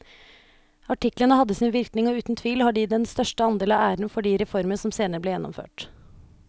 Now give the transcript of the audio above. Artiklene hadde sin virkning og uten tvil har de den største andel av æren for de reformer som senere ble gjennomført.